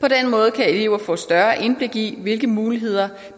på den måde kan eleverne få større indblik i hvilke muligheder